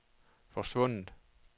forsvundet